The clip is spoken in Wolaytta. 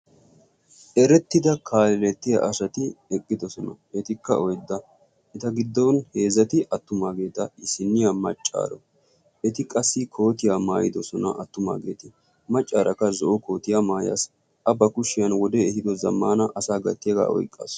Erettida kaalelettiya asati eqqidosona. etikka oydda eta giddon heezati attumaageeta isinniya maccaara eti qassi kootiyaa maayidosona attumaageeta maccaarakka zo'o kootiya maayaassi a ba kushshiyan wode ehido zammana asa gattiyaagaa oyqqaasu.